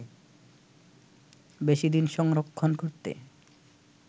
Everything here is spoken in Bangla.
বেশি দিন সংরক্ষণ করতে